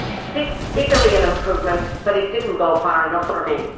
This is a real improvement, but it did not go far enough for me.